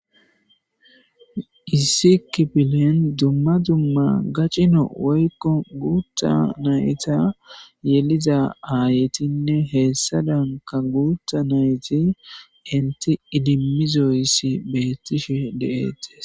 issi kipilen dumma dumma gaccino woykko guutta nayta yeliza aayetinne heessa danka guutta nayti inti idimizoyssi beettishe de7eettis